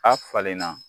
A falenna